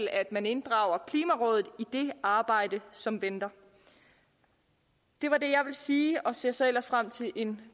at man inddrager klimarådet i det arbejde som venter det var det jeg ville sige og jeg ser så ellers frem til en